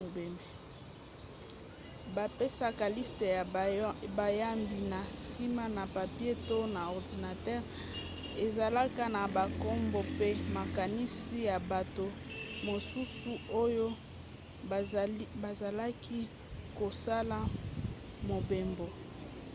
bapesaka liste ya bayambi na nsima na papie to na ordinatere ezalaka na bankombo mpe makanisi na bato mosusu oyo bazalaki kosala mobembo